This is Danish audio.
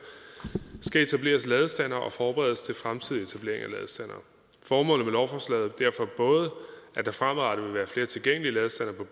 skal etableres ladestandere og forberedes til fremtidig etablering af ladestandere formålet med lovforslaget er derfor både at der fremadrettet vil være flere tilgængelige ladestandere